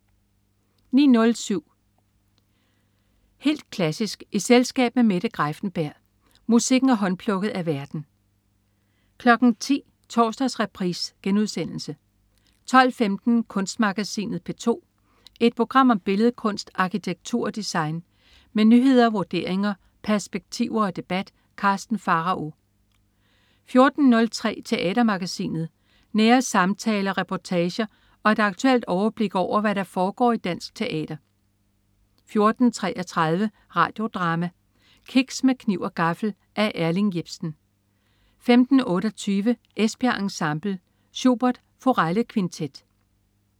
09.07 Helt klassisk i selskab med Mette Greiffenberg. Musikken er håndplukket af værten 10.00 Torsdagsreprise* 12.15 Kunstmagasinet P2. Et program om billedkunst, arkitektur og design. Med nyheder, vurderinger, perspektiver og debat. Karsten Pharao 14.03 Teatermagasinet. Nære samtaler, reportager og et aktuelt overblik over, hvad der foregår i dansk teater 14.33 Radio Drama: Kiks med kniv og gaffel. Af Erling Jepsen 15.28 Esbjerg Ensemble. Schubert: Forellekvintet